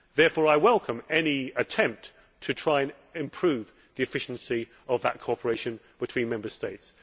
Therefore, I welcome any attempt to try and improve the efficiency of that cooperation between Member States.